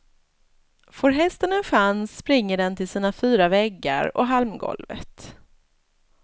Får hästen en chans springer den till sina fyra väggar och halmgolvet.